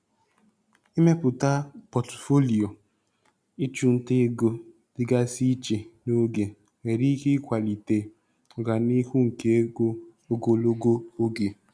Ịmepụta pọtụfoliyo ịchụ nta ego dịgasị iche n'oge nwere ike ịkwalite ọganihu nke ego ogologo oge.